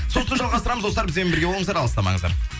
сосын жалғастырамыз достар бізбен бірге болыңыздар алыстамаңыздар